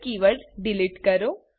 કી word delete કરો